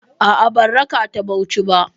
A'a, ban raka ta Bauchi ba.